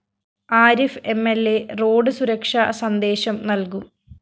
Arif M L A road സുരക്ഷാ സന്ദേശം നല്‍കും